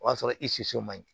O y'a sɔrɔ i siso man ɲi